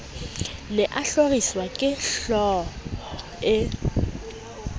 ne a hloriswa kehlooho e